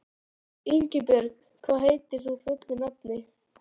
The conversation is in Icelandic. Ingibjörn, hvað heitir þú fullu nafni?